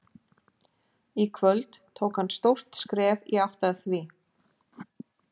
Í kvöld tók hann stórt skref í átt að því.